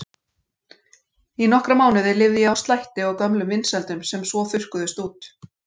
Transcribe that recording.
Í nokkra mánuði lifði ég á slætti og gömlum vinsældum sem svo þurrkuðust út.